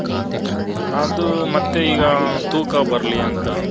ಅದು ಮತ್ತೆ ಇಗ ತೂಕ ಬರಲಿ ಅಂತ.